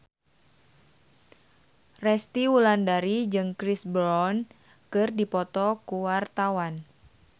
Resty Wulandari jeung Chris Brown keur dipoto ku wartawan